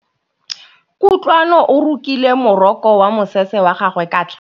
Kutlwanô o rokile morokô wa mosese wa gagwe ka tlhale.